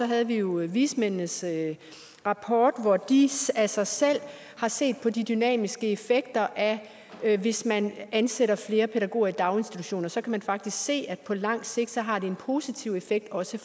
havde vi jo vismændenes rapport hvor de af sig selv har set på de dynamiske effekter af hvis man ansætter flere pædagoger i daginstitutioner så kan man faktisk se at det på lang sigt har en positiv effekt også